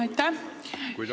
Aitäh!